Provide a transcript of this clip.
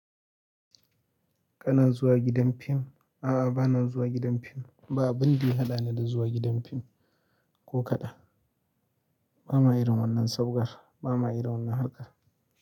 Kana zuwa gidan fim? A bana zuwa gidan film. Ba abin da ya haɗani da zuwa gidan fim ko kaɗan. Ba ma irin wannan sabgar, ba ma irin wannan harkar.